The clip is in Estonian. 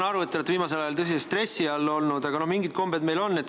Ma saan aru, et te olete viimasel ajal tõsises stressis olnud, aga mingid kombed meil siiski on.